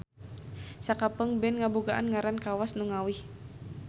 Sakapeung band ngabogaan ngaran kawas nu ngawih.